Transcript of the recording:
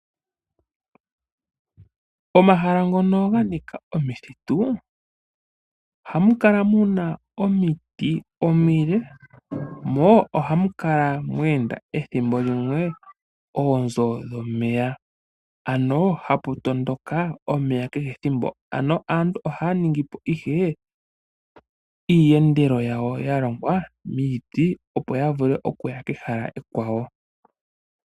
Momahala ngono mwa nika omithitu ohamu kala mu na omiti omile, mo ohamu kala mwe enda oonzo dhomeya ethimbo limwe, ano hapu tondoka omeya kehe ethimbo. Aantu ohaya ningi po ihe oontopa dha ningwa miiti, opo ya vule okuya kehala ekwawo.